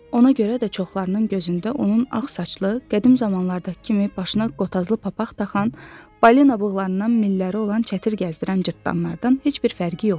Ona görə də çoxlarının gözündə onun ağ saçlı, qədim zamanlardakı kimi başına qotazlı papaq taxan, balino bığlarından milləri olan çətir gəzdirən cırtdanlardan heç bir fərqi yox idi.